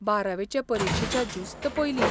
बारावे चे परिक्षेच्या जुस्त पयलीं